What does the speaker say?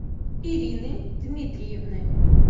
ирины дмитриевны